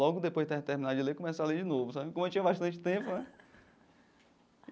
Logo depois de ter terminado de ler, comecei a ler de novo sabe, como eu tinha bastante tempo né.